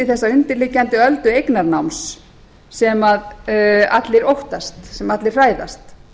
þessa undirliggjandi öldu eignarnáms sem allir óttast sem allir hræðast